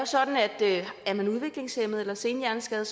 sådan at er man udviklingshæmmet eller senhjerneskadet